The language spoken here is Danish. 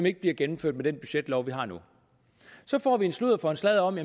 ikke gennemført med den budgetlov vi har nu så får vi en sludder for en sladder om